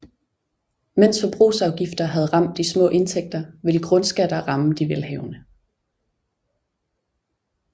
Mens forbrugsafgifter havde ramt de små indtægter ville grundskatter ramme de velhavende